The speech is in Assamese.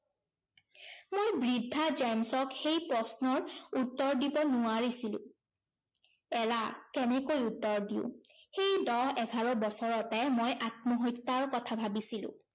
মই বৃদ্ধা জেম্‌ছক সেই প্ৰশ্নৰ উত্তৰ দিব নোৱাৰিছিলো। এৰা কেনেকৈ উত্তৰ দিওঁ? সেই দহ এঘাৰ বছৰতে মই আত্মহত্যাৰ কথা ভাবিছিলো।